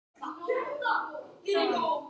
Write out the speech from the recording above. Ertu ekki búin að bjóða honum þetta?